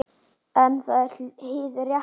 En það er hið rétta.